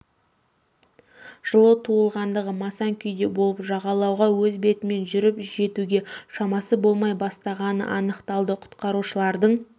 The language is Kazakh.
жылы туылғандығы масаң күйде болып жағалауға өз бетімен жүріп жетуге шамасы болмай бастағаны анықталды құтқарушылардың